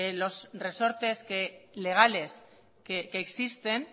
los resortes legales que existen